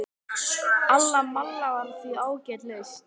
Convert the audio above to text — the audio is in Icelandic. Alla malla var því ágæt lausn.